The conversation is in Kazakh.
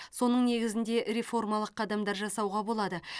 соның негізінде реформалық қадамдар жасауға болады